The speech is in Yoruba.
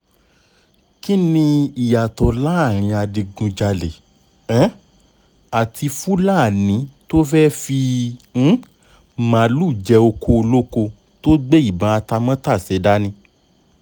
kín ni ìyàtọ̀ láàrin adigunjalè um àti fúlàní tó fẹ́ẹ́ fi um màálùú jẹ ọkọ̀ olóko tó gbé ìbọn atamátàsé dání